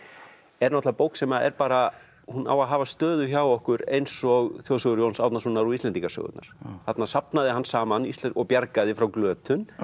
er náttúrulega bók sem er bara hún á að hafa stöðu hjá okkur eins og þjóðsögur Jóns Árnasonar og Íslendingasögurnar þarna safnaði hann saman og bjargaði frá glötun